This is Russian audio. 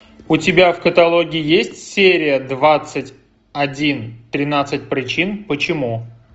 у тебя в каталоге есть серия двадцать один тринадцать причин почему